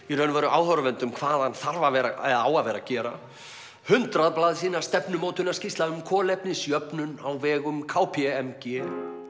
í raun og veru áhorfendum hvað hann þarf að vera eða á að vera að gera hundrað blaðsíðna stefnumótunarskýrsla um kolefnisjöfnun á vegum k p m g